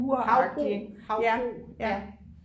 Havbrug havbrug ja